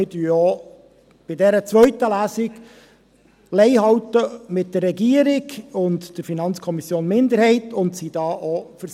Wir halten auch bei dieser zweiten Lesung Lei mit der Regierung und der FiKo-Minderheit und sind hier auch bei 16’000 Franken.